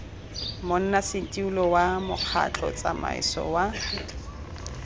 monnasetilo wa mokgatlho tsamaiso wa